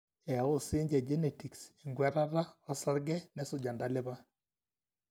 eyau sinje genetics enkwetata osarge nesuj entalipa